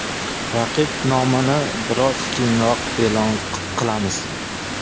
Raqib nomini biroz keyinroq e’lon qilamiz.